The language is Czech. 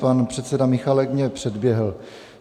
Pan předseda Michálek mě předběhl.